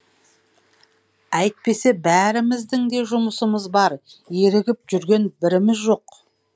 әйтпесе бәріміздің де жұмысымыз бар ерігіп жүрген біріміз жоқ